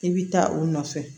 I bi taa o nɔfɛ